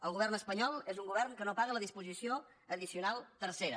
el govern espanyol és un govern que no paga la disposició addicional tercera